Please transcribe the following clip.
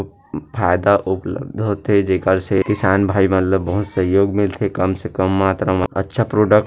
फायदा उपलब्ध होथे जेकर से किसान भाई मन ल बहुत सहयोग मिल थे कम से कम मात्रा म अच्छा प्रोडक्ट --